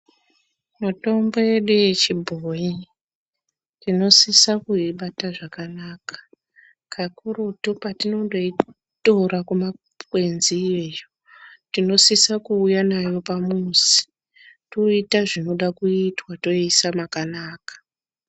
Mitombo yedu yechibhoi tinosisa kuibata zvakanaka kakurutu patinongoitota kumakwenzi iyo tinosisa kuuya nayo pamuzi toita zvinoda kuitwa totoisa pakanaka.